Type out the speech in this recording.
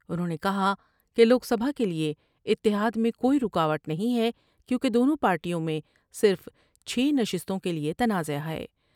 انہوں نے کہا کہ لوک سبھا کے لئے اتحاد میں کوئی روکاوٹ نہیں ہے کیونکہ دونوں پارٹیوں میں صرف چھ نشستوں کے لئے تنازعہ ہے ۔